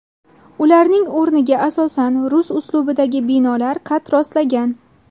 Ularning o‘rniga asosan rus uslubidagi binolar qad rostlagan.